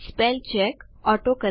spell check શબ્દ જોડણી તપાસ કરતા